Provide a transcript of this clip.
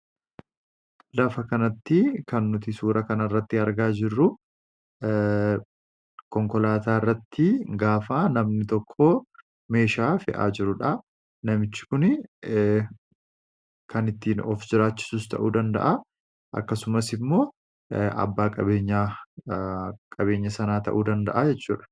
Lafa kanatti kan nuti suura kan irratti argaa jirru konkolaataa irratti gaafaa namni tokko meeshaa fe'aa jiruudha. namichi kun kan ittiin of jiraachisus ta'uu danda'a akkasumas immoo abbaa qabeenya qabeenya sanaa ta'uu danda'a jechuudha.